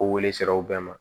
Ko wele sera u bɛɛ ma